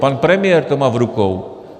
Pan premiér to má v rukou.